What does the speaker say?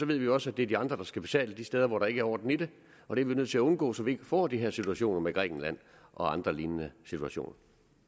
vi også at det er de andre der skal betale de steder hvor der ikke er orden i det og det er vi nødt til at undgå så vi ikke får de her situationer som med grækenland og andre lignende situationer